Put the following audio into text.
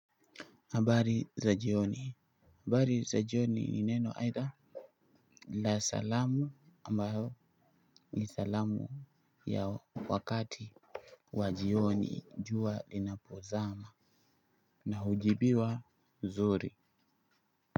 Habari za jioni habari za jioni ni neno aidha la salamu ambayo ni salamu ya wakati wa jioni jua linapozama na hujibiwa zuri.